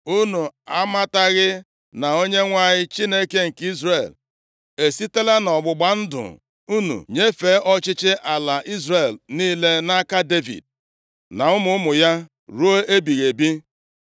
Unu amataghị na Onyenwe anyị Chineke nke Izrel esitela nʼọgbụgba ndụ nnu nyefee ọchịchị ala Izrel niile nʼaka Devid na ụmụ ụmụ ya ruo ebighị ebi?